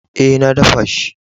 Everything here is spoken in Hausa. Eh, na daffa shi.